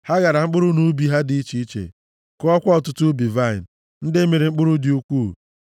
Ha ghara mkpụrụ nʼubi ha dị iche iche, kụọkwa ọtụtụ ubi vaịnị ndị mịrị mkpụrụ dị ukwuu;